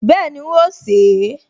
Bẹ́ẹ̀ni, n óò sè é